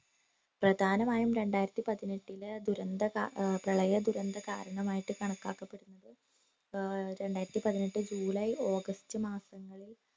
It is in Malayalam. പ്രധാനമായും രണ്ടായിരത്തി പതിനെട്ടിലെ ദുരന്ത കാ ഏർ പ്രളയ ദുരന്ത കാരണമായിട്ട് കണക്കാക്കപെട്ട് ഏർ രണ്ടായിരത്തി പതിനെട്ട് ജൂലൈ ഓഗസ്റ്റ് മാസങ്ങളിൽ